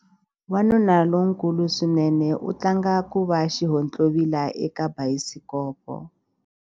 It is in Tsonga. Wanuna lonkulu swinene u tlanga ku va xihontlovila eka bayisikopo.